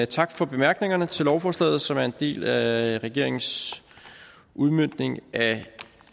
tak for bemærkningerne til lovforslaget som er en del af regeringens udmøntning af